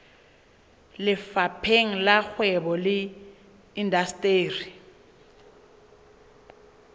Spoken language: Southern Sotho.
lefapheng la kgwebo le indasteri